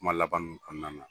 Kuma laban ninnu kɔnɔna na.